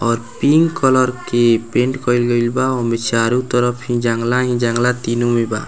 और pink colour के paint कयल गइल बा ओय में चारो तरफ जंगला ही जंगला तीनो में बा।